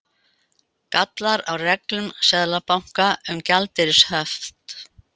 Gallar á reglum Seðlabanka um gjaldeyrishöft